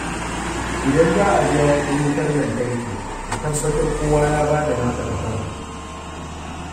Idan za a biya kuɗin wutar lantarki, a tabbatar kowa ya ba da nasa kason.